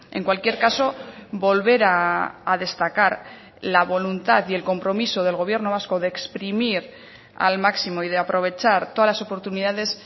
en cualquier caso volver a destacar la voluntad y el compromiso del gobierno vasco de exprimir al máximo y de aprovechar todas las oportunidades